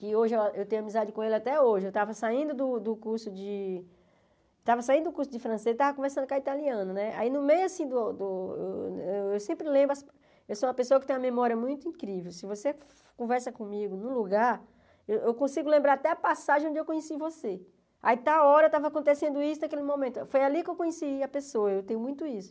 que hoje a eu tenho amizade com ele até hoje, eu estava saindo do do curso de estava saindo do curso francês, estava conversando com a italiana né, aí no meio assim do, eu sempre lembro, eu sou uma pessoa assim que tem uma memória muito incrível, se você conversa comigo num lugar, eu consigo lembrar até a passagem onde eu conheci você, aí está a hora, estava acontecendo isso naquele momento, foi ali que eu conheci a pessoa, eu tenho muito isso.